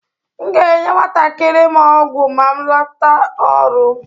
M ga-enye nwantakịrị m ọgwụ ma m lata ọrụ.